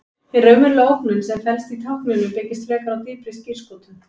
Hin raunverulega ógnun sem felst í tákninu byggist frekar á dýpri skírskotun.